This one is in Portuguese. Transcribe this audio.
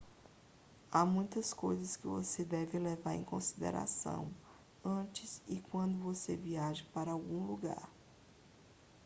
há muitas coisas que você deve levar em consideração antes e quando você viaja para algum lugar